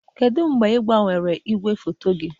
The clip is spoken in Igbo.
Kedu mgbe ị gbanwere igwefoto gị?